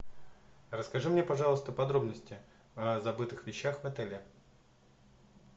расскажи мне пожалуйста подробности о забытых вещах в отеле